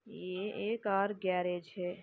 ये a car garage है।